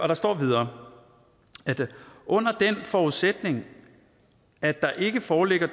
der står videre under den forudsætning at der ikke foreligger